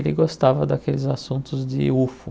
Ele gostava daqueles assuntos de Ufo.